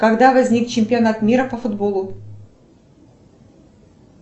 когда возник чемпионат мира по футболу